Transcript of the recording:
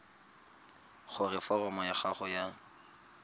gore foromo ya gago ya